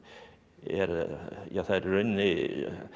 er ja það í rauninni